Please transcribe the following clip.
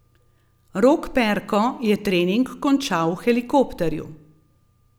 Rok Perko je trening končal v helikopterju.